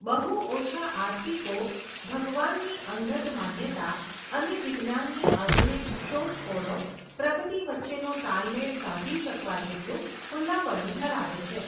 બહુ ઓછા આસ્તિકો, ભગવાનની અંગત માન્યતા, અને વિજ્ઞાનની આઘુનિક શોધખોળો, પ્રગતિ વચ્ચેનો તાલમેળ સાધી શકવા જેટલું ખુલ્લાપણું ધરાવે છે.